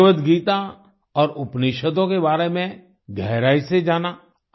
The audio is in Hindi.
भगवद् गीता और उपनिषदों के बारे में गहराई से जाना